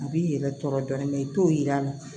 A b'i yɛrɛ tɔɔrɔ dɔɔni i t'o yir'a la